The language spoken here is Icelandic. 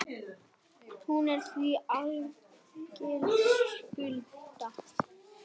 Hún er því algild skylda.